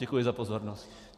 Děkuji za pozornost.